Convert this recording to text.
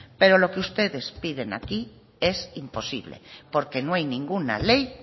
pero lo que ustedes piden aquí es imposible porque no hay ninguna ley